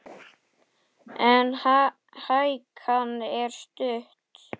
En hækan er stutt.